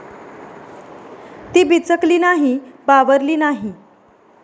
ती बिचकली नाही, बावरली नाही.